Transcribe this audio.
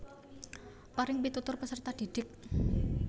Paring pitutur peserta didik